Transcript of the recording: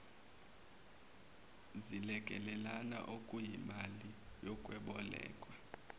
zilekelelane okuyimali yokwebolekwa